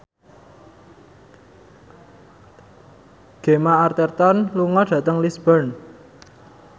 Gemma Arterton lunga dhateng Lisburn